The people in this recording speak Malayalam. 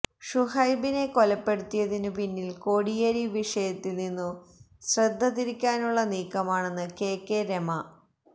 ഷുഹൈബിനെ കൊലപ്പെടുത്തിയതിനു പിന്നില് കോടിയേരി വിഷയത്തില് നിന്നു ശ്രദ്ധ തിരിക്കാനുള്ള നീക്കമാണെന്ന് കെ കെ രമ